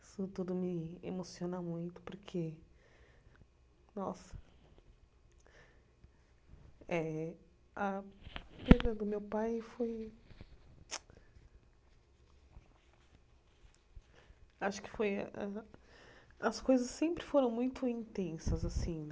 Isso tudo me emociona muito, porque... Nossa... Eh a perda do meu pai foi... Acho que foi... As coisas sempre foram muito intensas, assim